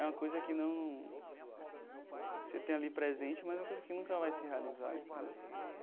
É uma coisa que não... Você tem ali presente, mas é uma coisa que nunca vai se realizar, entendeu?